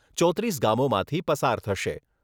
ચોત્રીસ ગામોમાંથી પસાર થશે.